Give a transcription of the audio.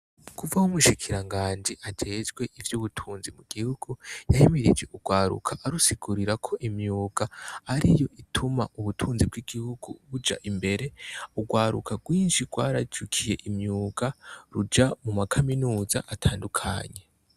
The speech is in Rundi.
Kuv'aho umushikiringanji ajejwe ivy'ubutunzi mu gihugu ahimirije urwaruka, arusigurira ko imyuga ariyo ituma ubutunzi bw'igihugu buja imbere, urwaruka rwinshi rwarijukiye imyuga ruja mu makaminuza atandukanye.